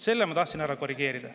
Selle ma tahtsin ära korrigeerida.